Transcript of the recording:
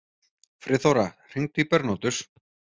Friðþóra, hringdu í Bernótus.